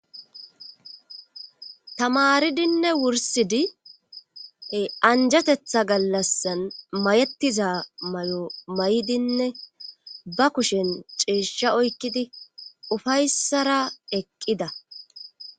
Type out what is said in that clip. tamaridinne wursidi e anjatetha gallassan mayettiza mayo may7idinne ba kushen ceeshsha oykkidi ufayssara eqqida